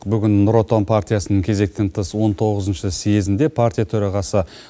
бүгін нұр отан партиясының кезектен тыс он тоғызыншы съезінде партия төрағасы